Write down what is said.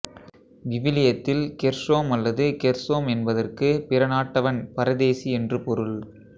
விவிலியத்தில் கெர்ஷோம் அல்லது கெர்சோம் என்பதற்கு பிறநாட்டவன் பரதேசி என்று பொருள்